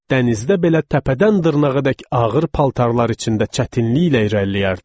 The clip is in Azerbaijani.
Dənizdə belə təpədən dırnağadək ağır paltarlar içində çətinliklə irəliləyərdilər.